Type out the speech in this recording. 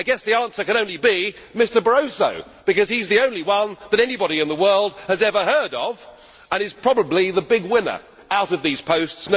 I guess the answer can only be Mr Barroso, because he is the only one that anybody in the world has ever heard of and is probably the big winner out of these posts.